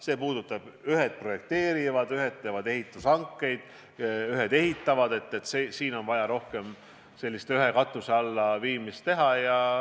See puudutab seda, et ühed projekteerivad, ühed teevad ehitushankeid, ühed ehitavad – siin on vaja rohkem sellist ühe katuse alla viimist.